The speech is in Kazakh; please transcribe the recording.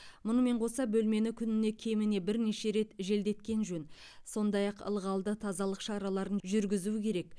мұнымен қоса бөлмені күніне кеміне бірнеше рет желдеткен жөн сондай ақ ылғалды тазалық шараларын жүргізу керек